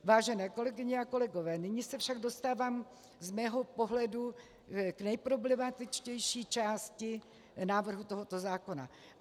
Vážené kolegyně a kolegové, nyní se však dostávám z mého pohledu k nejproblematičtější části návrhu tohoto zákona.